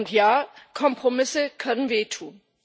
Und ja Kompromisse können wehtun.